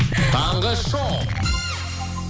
таңғы шоу